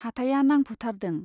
हाथाइया नांफुथारदों।